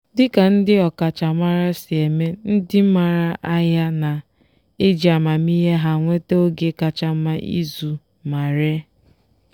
dịka ndị ọkachamara si eme ndị maara ahịa na-eji amamihe ha enweta oge kacha mma ịzụ ma ree.